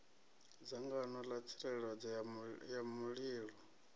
dzangano ḽa tsireledzo ya mulilo